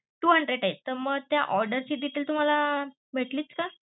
two hundred, तर मग त्या order ची detail तुम्हाला भेटली का?